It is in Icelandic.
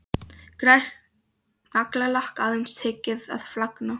Glært naglalakk, aðeins tekið að flagna.